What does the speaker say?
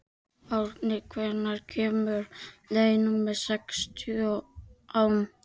Árni, hvenær kemur leið númer sextán?